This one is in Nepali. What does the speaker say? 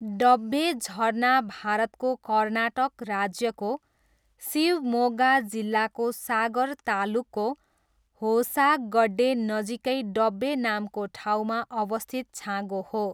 डब्बे झरना भारतको कर्नाटक राज्यको शिवमोग्गा जिल्लाको सागर तालुकको होसागड्डेनजिकै डब्बे नामको ठाउँमा अवस्थित छाँगो हो।